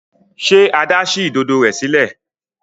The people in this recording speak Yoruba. Ṣe Ada sí Ìdodo rẹ sílẹ̀?